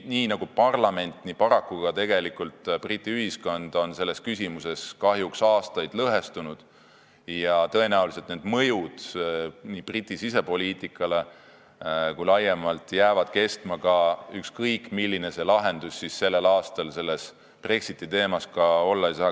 Nii nagu parlament, nii paraku ka Briti ühiskond on selles küsimuses kahjuks aastaid olnud lõhestunud ja tõenäoliselt jäävad need mõjud Briti sisepoliitikale ja ka laiemad mõjud kestma, ükskõik milline lahendus sellel aastal Brexiti teemas ka ei tule.